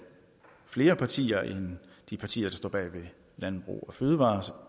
flere partier end de partier der står bag fødevare